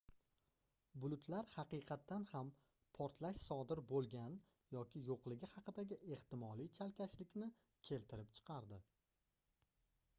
bulutlar haqiqatan ham portlash sodir boʻlgan yoki yoʻligi haqidagi ehtimoliy chalkashlikni keltirib chiqardi